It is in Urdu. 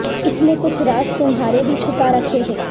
اس میں کچھ راز تمھارے بھی چھپا رکھے ہیں